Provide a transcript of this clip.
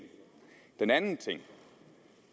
den anden ting